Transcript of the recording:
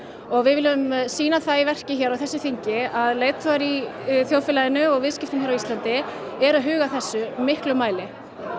og við viljum sýna það í verki hér á þessu þingi að leiðtogar í þjóðfélaginu og viðskiptum hér á Íslandi eru að huga að þessu miklum mæli